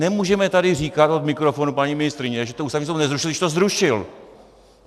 Nemůžeme tady říkat od mikrofonu, paní ministryně, že to Ústavní soud nezrušil, když to zrušil.